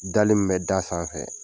Dali min bɛ d'a sanfɛ